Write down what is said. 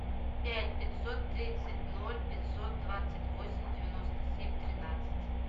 пять пятьсот тридцать ноль пятьсот двадцать восемь девяносто семь тринадцать